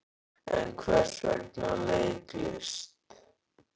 En hvers vegna leiklist?